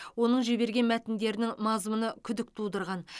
оның жіберген мәтіндерінің мазмұны күдік тудырған